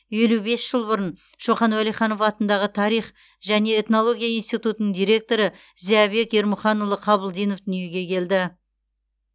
елу бес жыл бұрын шоқан уәлиханов атындағы тарих және этнология институтының директоры зиябек ермұханұлы қабылдинов дүниеге келді